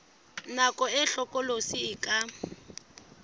nako e hlokolosi e ka